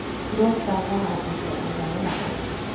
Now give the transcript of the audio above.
Flottan lär dig att bli en ledare.